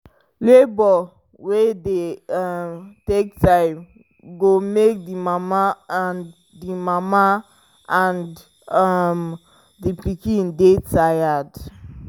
labour wey dey um take time go make the mama and the mama and um the um pikin dy tired